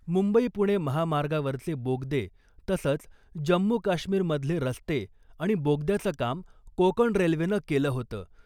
मुंबई पुणे महामार्गावरचे बोगदे , तसंच जम्मू काश्मीरमधले रस्ते आणि बोगद्याचं काम कोकण रेल्वेनं केलं होतं .